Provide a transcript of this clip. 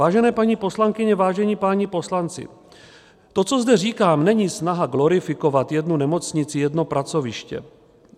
Vážené paní poslankyně, vážení páni poslanci, to, co zde říkám, není snaha glorifikovat jednu nemocnici, jedno pracoviště.